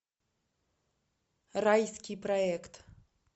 райский проект